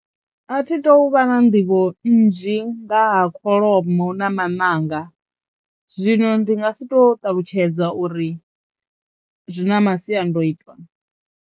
Athi tu uvha na nḓivho nnzhi nga ha kholomo na maṋanga zwino ndi nga si to ṱalutshedza uri zwi na masiandoitwa.